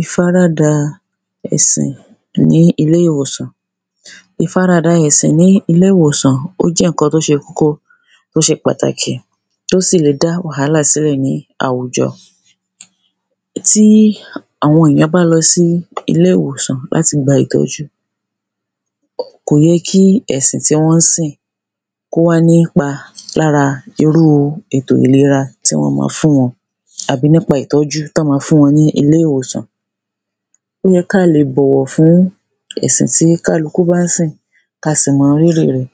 ìfaradà ẹ̀sìn ní ilé-ìwòsàn. ìfaradà ẹ̀sìn ní ilé-ìwòsàn ó jẹ́ ǹkan tó ṣe kókó tó ṣe pàtàkí tó sì le dá wàhàlà sílẹ̀ ní àwùjọ. tí àwọn èyán bá lọ sí ilé-ìwòsàn láti gba ìtọ́jú, kòyé kí ẹ̀sìn tí wọ́n sìn kó wá nípa lára irúu ètò ìlera tí wọ́n ma fún wọn àbí nípa ìtọ́jú tọ́n ma fún wọn ní ilé-ìwòsàn. ó ye káa le bọ̀wọ̀ fún ẹ̀sìn tí kálukú bán sìn ka sì mọ rírì rẹ̀,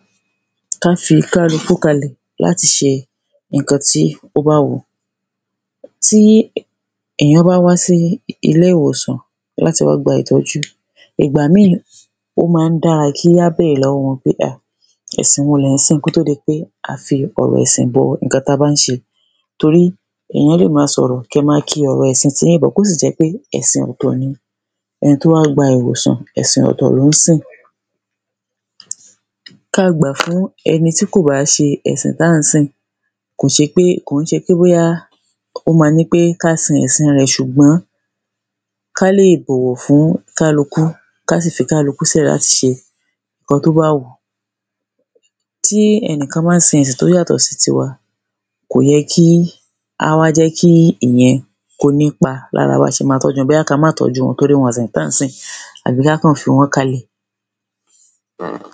ká fi kálukú kalẹ̀ láti ṣe ǹkan tí ó bá wùú. tí èyán bá wá sí ilé-ìwòsàn láti wá gba ìtọ́jú, ìgbà míì, ó ma ń dára kí á bèrè lọ́wọ́ọ wọn pé à, ẹ̀sìn wo lẹ̀ ń sìn kótó di pé a fi ọ̀rọ̀ ẹ̀sìn bọ ǹkan tí a bán ṣe. torí èyán lè ma sọ̀rọ̀, kẹ ma ki ọ̀rọ̀ ẹ̀sin tíyin bọ̀ ọ́ kó sì jẹ́ pé ẹ̀sìn ọ̀tọ̀ ni ẹni tó wá gba ìwòsàn, ẹ̀sìn ọ̀tọ̀ lón sìn. ka gbà fún ẹni tí kò bá ṣe ẹ̀sìn táà ń sìn, kò ń ṣe pé bóyá ó ma ní pé ká sin ẹ̀sin rẹ̀, ṣùgbọ́n ká lè bọ̀wọ̀ fún kálukú, ká sì fi kálukú sílẹ̀ láti ṣe ǹkan tó bá wùú. tí ẹnìkán bá sin ẹ̀sìn tó yàtọ̀ sí tiwa, kòyẹ́ kí á wá jẹ́ kí ìyẹn kó nípa lára ba ṣe ma tọ́ju wọn. bóyá ka má tọ́júu wọn torí wọn ò sin ẹ̀sìn táà ń sìn, àbí ká kàn fí wọ́n kalẹ̀.